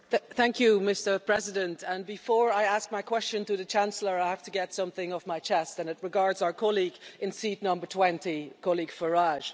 Thank you, Mr President, and before I ask my question to the Chancellor, I have to get something off my chest and it regards our colleague in seat number 20 Mr Farage.